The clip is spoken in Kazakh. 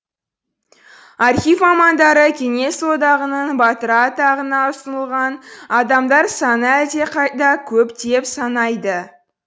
архив мамандары кеңес одағының батыры атағына ұсынылған адамдар саны әлдеқайда көп деп санайды